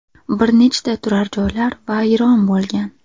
Bir nechta turar-joylar vayron bo‘lgan.